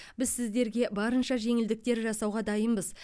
біз сіздерге барынша жеңілдіктер жасауға дайынбыз